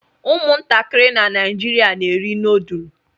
Ụmụntakịrị na Naịjirịa na-eri noodlu